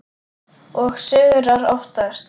Og sigrar oftast.